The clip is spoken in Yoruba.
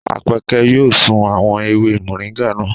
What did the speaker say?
Àpẹ́kẹ́ yóò sun àwọn ewé mọ̀ríńgà naa.